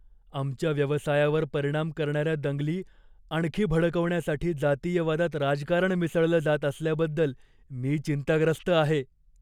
आमच्या व्यवसायावर परिणाम करणाऱ्या दंगली आणखी भडकवण्यासाठी जातीयवादात राजकारण मिसळलं जात असल्याबद्दल मी चिंताग्रस्त आहे.